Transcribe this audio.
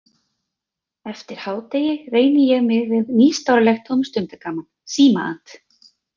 Eftir hádegi reyni ég mig við nýstárlegt tómstundagaman, símaat.